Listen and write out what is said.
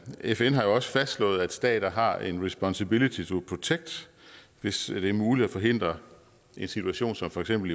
fn har jo også fastslået at stater har responsibility to protect hvis det er muligt at forhindre en situation som for eksempel